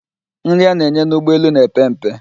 Nri a na-enye n'ụgbọ elu na-epe mpe.